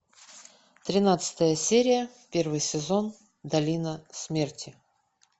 тринадцатая серия первый сезон долина смерти